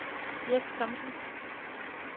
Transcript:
Jes Thomsen